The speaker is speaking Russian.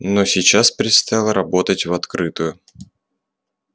но сейчас предстояло работать в открытую